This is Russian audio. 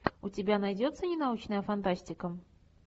у тебя найдется ненаучная фантастика